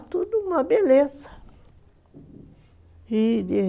beleza